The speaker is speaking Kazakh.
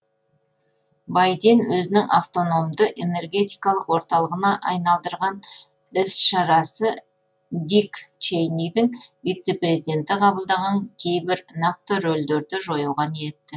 байден өзінің автономды энергетикалық орталығына айналдырған із шарасы дик чейнидің вице президенті қабылдаған кейбір нақты рөлдерді жоюға ниетті